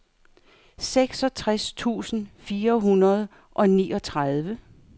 seksogtres tusind fire hundrede og niogtredive